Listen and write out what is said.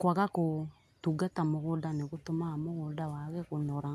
Kwaga gũtungata mũgũnda nĩ gũtũmaga mũgũnda wage kũnora